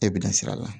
E bɛ na sir'a la